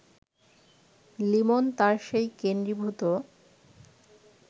লিমন তার সেই কেন্দ্রীভূত